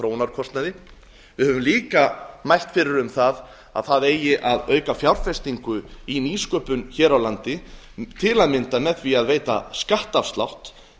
þróunarkostnaði við höfum líka mælt fyrir um að það eigi að auka fjárfestingu í nýsköpun hér á landi til að mynda með því að veita skattafslátt